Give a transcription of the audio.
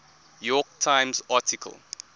york times article